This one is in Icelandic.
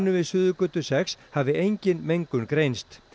við Suðurgötu sex hafi engin mengun greinst